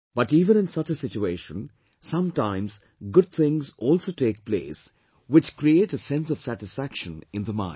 But even in such a situation, sometimes good things also take place which create a sense of satisfaction in the mind